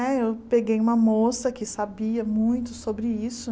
Eu peguei uma moça que sabia muito sobre isso.